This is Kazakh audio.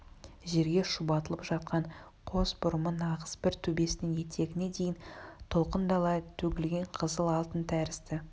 жерге шұбатылып жатқан қос бұрымы нағыз бір төбесінен етегіне дейін толқындала төгілген қызыл алтын тәрізді